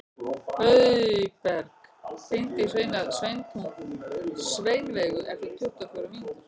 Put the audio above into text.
Auðberg, hringdu í Sveinveigu eftir tuttugu og fjórar mínútur.